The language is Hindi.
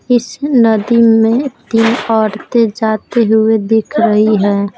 इस नदी में तीन औरतें जाते हुए दिख रही है।